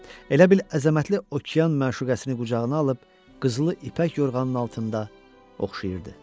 Elə bil əzəmətli okean məşuqəsini qucağına alıb qızılı ipək yorğanın altında oxşayırdı.